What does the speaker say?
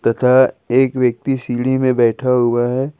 तथा एक व्यक्ति सीढ़ी में बैठा हुआ है।